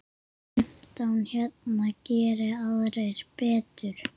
Fimmtán hérna, geri aðrir betur!